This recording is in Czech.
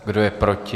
Kdo je proti?